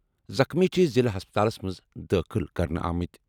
زخمی چھِ ضِلعہٕ ہسپتالَس منٛز دٲخٕل کرنہٕ آمٕتۍ۔